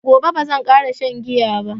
Daga gobe bazan ƙara shan giya ba